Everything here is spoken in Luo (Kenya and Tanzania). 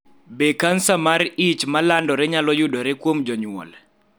Be kansa mar ich ma landore nyalo yudore kuom jonyuol?